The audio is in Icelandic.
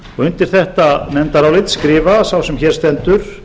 undir þetta nefndarálit skrifa sá sem hér stendur